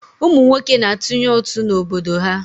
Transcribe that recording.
Ụmụ nwoke na-atụnye ụtụ n'obodo ha.